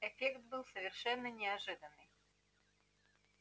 эффект был совершенно неожиданный